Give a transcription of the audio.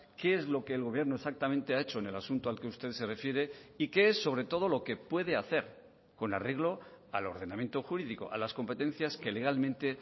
qué es lo que el gobierno exactamente ha hecho en el asunto al que usted se refiere y qué es sobre todo lo qué puede hacer con arreglo al ordenamiento jurídico a las competencias que legalmente